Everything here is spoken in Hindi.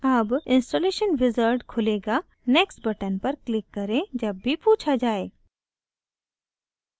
अब installation wizard खुलेगा next button पर click करें जब भी पूछा जाये